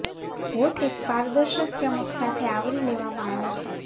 હોઠ એક પારદર્શક ચમક સાથે આવરી લેવામાં આવે છે